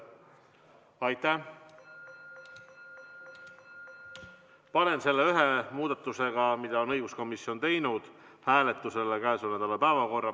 Panen koos selle ühe muudatusega, mille on teinud õiguskomisjon, hääletusele käesoleva nädala päevakorra.